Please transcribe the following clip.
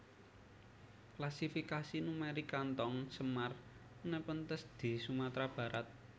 Klasifikasi numerik kantong semar Nepenthes di Sumatera Barat